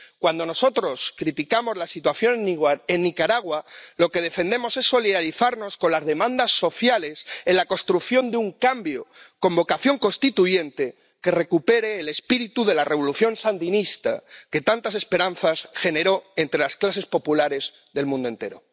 Cuando nosotros criticamos la situación en Nicaragua lo que defendemos es solidarizarnos con las demandas sociales en la construcción de un cambio, con vocación constituyente, que recupere el espíritu de la revolución sandinista, que tantas esperanzas generó entre las clases populares del mundo entero.